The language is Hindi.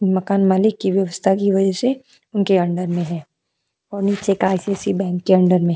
मकान मालिक की व्यवस्था की वजह से उनके अंडर में है और नीचे का आई.सी.आई.सी.आई. बैंक के अंडर में हैं।